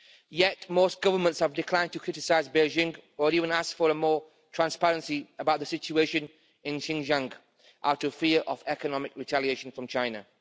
Yet, most governments have declined to criticise Beijing or even ask for more transparency about the situation in Xinjiang out of fear of economic retaliation from China.